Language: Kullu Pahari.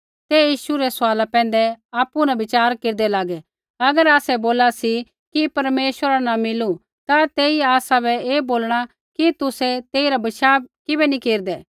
ते यीशु रै सवाला पैंधै आपु न विचार केरदै लागै कि अगर आसै बोला सी कि परमेश्वरा न मिलू तै ऐई आसा ऐ बोलणा कि तुसै तेइरा विश्वास किबै नी केरदै